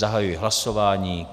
Zahajuji hlasování.